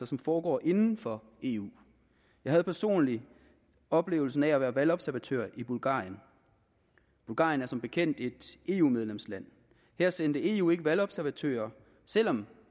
som foregår inden for eu jeg havde personligt oplevelsen af at være valgobservatør i bulgarien bulgarien er som bekendt et eu medlemsland her sendte eu ikke valgobservatører selv om